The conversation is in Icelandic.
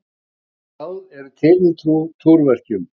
Ýmis ráð eru til við túrverkjum.